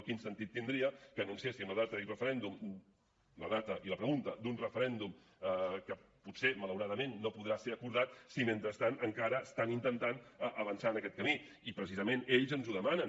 quin sentit tindria que anunciéssim la data i la pregunta d’un referèndum que potser malauradament no podrà ser acordat si mentrestant encara estan intentant avançar en aquest camí i precisament ells ens ho demanen